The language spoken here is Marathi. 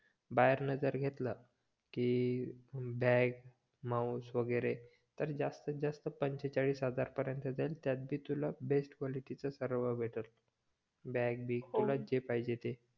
बाहेरन जर घेतल कि बॅग, माउस वगेरे तर जास्तीत जास्त पंचेचाळीस हजार पर्यंत जाईल त्यात बी तुला बेस्ट क्वालिटीच सर्व भेटल बॅग बिग किवा जे पाहिजे ते